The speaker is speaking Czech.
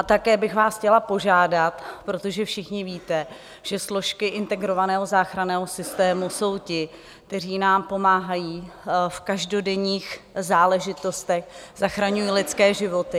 A také bych vás chtěla požádat, protože všichni víte, že složky integrovaného záchranného systému jsou ti, kteří nám pomáhají v každodenních záležitostech, zachraňují lidské životy.